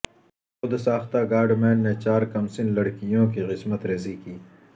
خودساختہ godman نے چار کمسن لڑکیوں کی عصمت ریزی کی